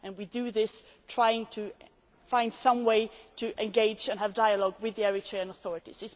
We do this and try to find some way to engage and have dialogue with the Eritrean authorities.